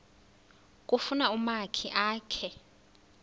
kufuna umakhi akhe